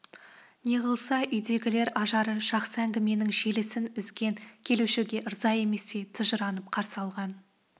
неғылса үйдегілер ажары жақсы әңгіменің желісін үзген келушіге ырза еместей тыжырынып қарсы алған